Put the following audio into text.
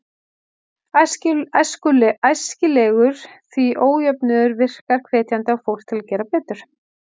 Æskilegur, því ójöfnuður virkar hvetjandi á fólk til að gera betur.